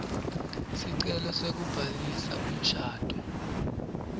sicelo sekubhalisa umshado